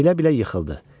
Bilə-bilə yıxıldı.